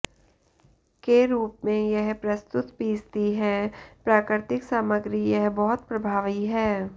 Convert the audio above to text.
के रूप में यह प्रस्तुत पीसती हैं प्राकृतिक सामग्री यह बहुत प्रभावी है